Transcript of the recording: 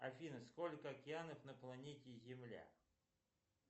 афина сколько океанов на планете земля